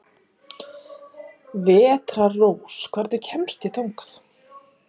Vetrarrós, hvernig kemst ég þangað?